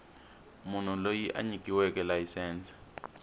munhu loyi a nyikiweke layisense